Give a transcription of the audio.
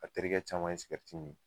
A terikɛ caman ye sigɛriti min